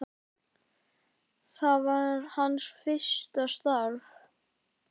Það var hans fyrsta starf.